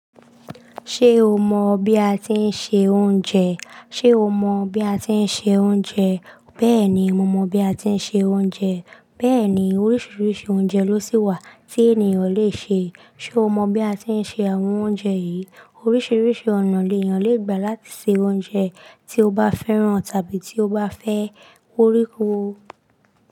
Ṣé o mọ bí a ti ń se oúnjẹ? Ṣé o mọ bí a ti ń se oúnjẹ? Bẹ́ẹ̀ni, mo mọ bí a ti ń se oúnjẹ. Bẹ́ẹ̀ni, oríṣiríṣi oúnjẹ ló sì wà tí ènìyàn le ṣe. Ṣé o mọ bí a ti ń se àwọn oúnjẹ yìí? Oríṣiríṣi ọ̀nà ènìyàn le gba láti se oúnjẹ tí ó bá fẹ́ràn tàbí tí ó bá fẹ́ ko re.